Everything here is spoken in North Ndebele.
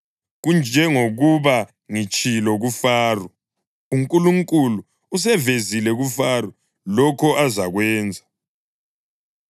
Kunjengokuba ngitshilo kuFaro. UNkulunkulu usevezile kuFaro lokho azakwenza.